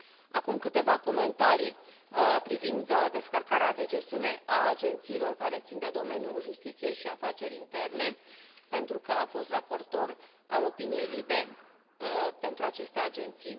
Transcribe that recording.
Acum câteva comentarii privind descărcarea de gestiune a agențiilor care țin de domeniul justiției și afaceri interne pentru că am fost raportor al avizului Comisiei LIBE pentru aceste agenții.